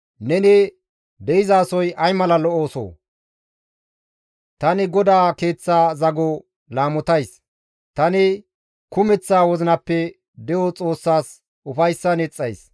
Tani GODAA Keeththa zago laamotays; tani kumeththa wozinappe de7o Xoossas ufayssan yexxays.